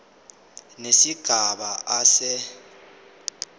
nesigaba a se